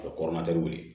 A bɛ wili